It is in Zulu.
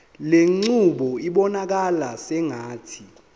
lenqubo ibonakala sengathi